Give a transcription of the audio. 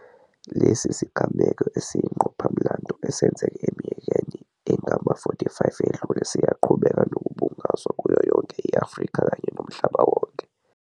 Lesi sigameko esiyingqophamlando esenzeka eminyakeni engama-45 edlule siyaqhubeka nokubungazwa kuyoyonke i-Afrika kanye nomhlaba wonke.